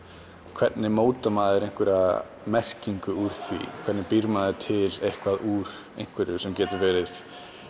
hvernig mótar maður einhverja merkingu úr því hvernig býr maður til eitthvað úr einhverju sem getur verið